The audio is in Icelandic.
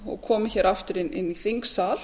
og komi hér aftur inn í þingsal